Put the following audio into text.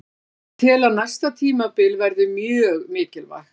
Ég tel að næsta tímabil verði mjög mikilvægt.